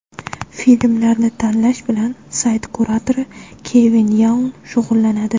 Filmlarni tanlash bilan sayt kuratori Kevin Yaun shug‘ullanadi.